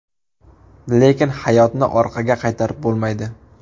Lekin hayotni orqaga qaytarib bo‘lmaydi.